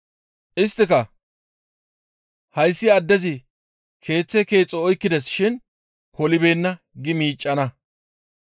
Isttika, ‹Hayssi addezi keeththe keexo oykkides shin polibeenna› gi miiccana.